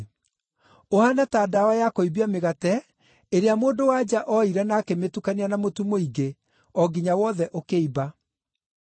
Ũhaana ta ndawa ya kũimbia mĩgate ĩrĩa mũndũ-wa-nja ooire na akĩmĩtukania na mũtu mũingĩ, o nginya wothe ũkĩimba.”